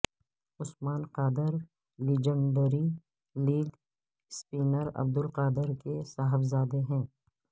عثمان Qadir legendary leg spinner Abdul Qadir کے صاحبزادے ہیں